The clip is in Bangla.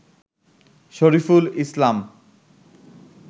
শরীফুল ইসলাম